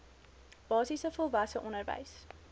basiese volwasse onderwys